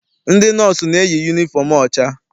Ndị nọọsụ na-eyi yunifọm ọcha.